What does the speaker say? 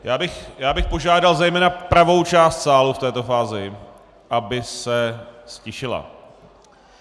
Já bych požádal zejména pravou část sálu v této fázi, aby se ztišila.